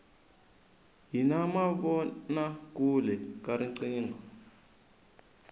hi na mavona kule ka riqingho